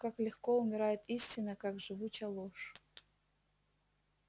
как легко умирает истина как живуча ложь